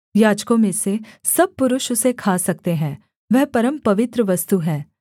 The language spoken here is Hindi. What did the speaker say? याजकों में से सब पुरुष उसे खा सकते हैं वह परमपवित्र वस्तु है